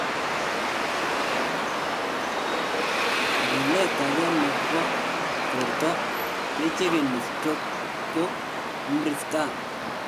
Lilet age nebo borto kechegeni stroke ko mri scan